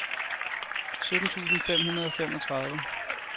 sytten tusind fem hundrede og femogtredive